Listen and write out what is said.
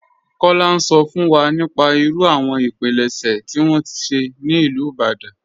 Kọla n sọ fún wa nípà ìrú àwọn ìpílẹ̀ṣẹ̀ tí wọn ṣẹ̀ ní Ilú Ìbàdàn..